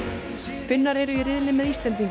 Finnar eru í riðli með Íslendingum